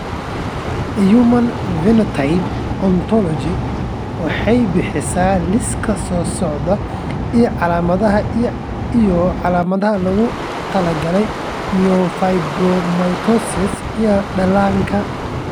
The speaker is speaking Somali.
The Human Phenotype Ontology waxay bixisaa liiska soo socda ee calaamadaha iyo calaamadaha loogu talagalay myofibromatosis ee dhallaanka.